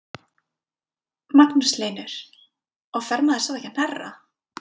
Magnús Hlynur: Og fer maður svo ekki að hnerra?